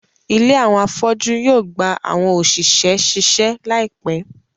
ìlé awọn afọju yoo gba awọn oṣiṣẹ ṣiṣe laipẹ